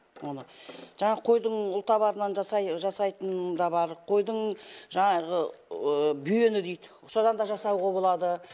оны жаңағы қойдың ұлтабарынан жасайтыны да бар қойдың жаңағы бүйені дейді содан да жасауға болады